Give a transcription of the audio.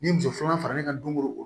Ni muso filanan faralen ka don o don